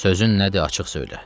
Sözün nədir, açıq söylə.